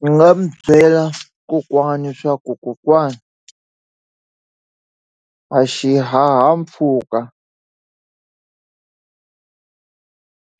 Ndzi nga mu byela kokwana swa ku kokwana a xihahampfhuka